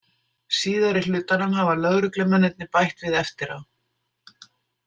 Síðari hlutanum hafa lögreglumennirnir bætt við eftir á.